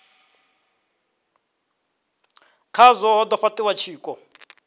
khazwo ha do fhatiwa tshiko